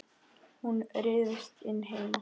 Hún ryðst inn heima.